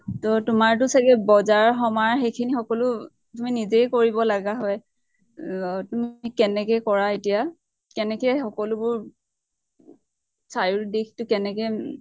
ত তোমাৰ টো চাগে বজাৰ সমাৰ সেইখিনি সকলো তুমি নেজেই কৰিব লাগা হয়? ৰ তুমি কেনেকে কৰা এতিয়া? কেনেকে সকলোবোৰ চাৰিও দিশ্টো কেনেকে